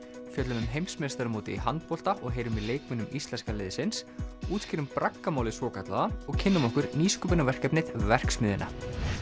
fjöllum um heimsmeistaramótið í handbolta og heyrum í leikmönnum íslenska liðsins útskýrum svokallaða og kynnum okkur nýsköpunarverkefnið verksmiðjuna